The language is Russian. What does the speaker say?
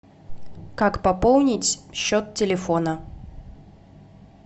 как пополнить счет телефона